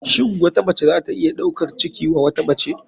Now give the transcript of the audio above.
Shin wata mace zata iya ɗaukar ciki wa wata mace.